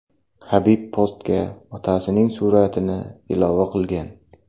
Habib postga otasining suratini ilova qilgan.